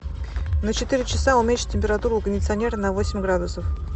на четыре часа уменьши температуру у кондиционера на восемь градусов